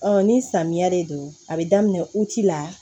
ni samiya de don a bɛ daminɛ la